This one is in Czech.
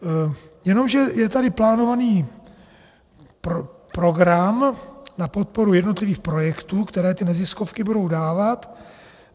Jenomže je tady plánovaný program na podporu jednotlivých projektů, které ty neziskovky budou dávat.